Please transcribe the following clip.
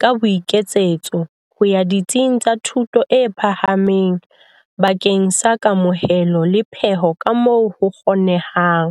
ka boiketsetso ho ya ditsing tsa thuto e phahameng bakeng sa kamohelo le peho kamoo ho kgonehang.